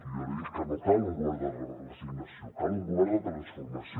jo li dic que no cal un govern de resignació cal un govern de transformació